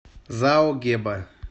зао геба